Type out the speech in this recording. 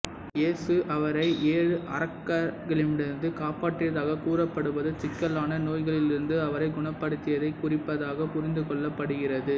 இயேசு அவரை ஏழு அரக்கர்களிடமிருந்து காப்பாற்றியதாக கூறப்படுவது சிக்கலான நோய்களிலிருந்து அவரைக் குணப்படுத்தியதைக் குறிப்பதாக புரிந்துகொள்ளப்படுகிறது